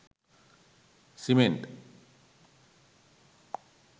cement